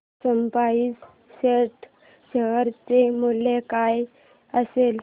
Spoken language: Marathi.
स्पाइस जेट शेअर चे मूल्य काय असेल